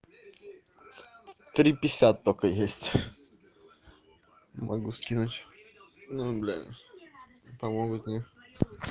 три пятьдесят только есть могу скинуть ну блядь помогут нет